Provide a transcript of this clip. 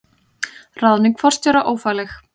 Ráðning forstjóra ófagleg